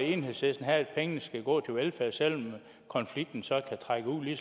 enhedslisten have at pengene skal gå til velfærd selv om konflikten så kan trække ud i